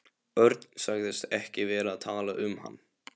Örn sagðist ekki vera að tala um hann.